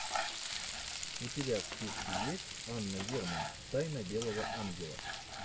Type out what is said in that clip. у тебя в списке есть анна герман тайна белого ангела